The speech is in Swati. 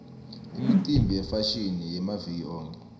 imicimbi yefashini yamaviki onkhe